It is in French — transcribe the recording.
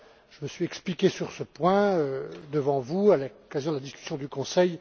je me suis expliqué sur ce point devant vous à l'occasion de la discussion du Conseil.